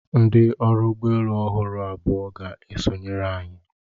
Ndị ọrụ ụgbọ elu ọhụrụ abụọ ga-esonyere anyị.